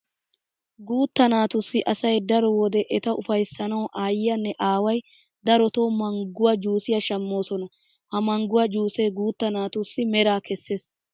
Guutta naatussi asay daro wode eta ufayssanawu aayyiyanne aaway darotoo mangguwa juusiya shammoosona. Ha mangguwa juusee guutta naatussi meraa kessees.